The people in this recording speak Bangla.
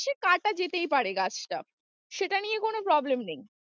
সে কাটা যেতেই পারে গাছটা সেটা নিয়ে কোনো problem নেই।